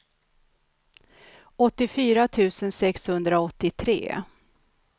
åttiofyra tusen sexhundraåttiotre